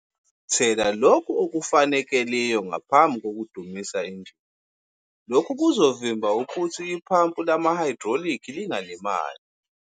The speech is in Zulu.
Thela lokhu okufanekeliyo ngaphambi kokudumisa injini, lokhu kuzovimba ukuthi iphampu lamahayidroliki lingalimali.